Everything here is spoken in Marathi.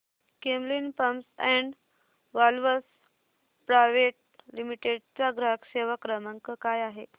Camlin pumps and valves private limited चा ग्राहक सेवा क्रमांक काय आहे